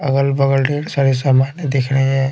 अगल बगल बोहोत सारे सामान दिख रहे है।